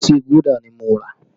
Ọtí Gúdà ni mo rà